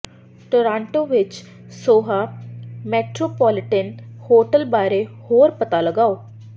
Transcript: Toronto ਵਿੱਚ Soho metropolitan hotel ਬਾਰੇ ਹੋਰ ਪਤਾ ਲਗਾਓ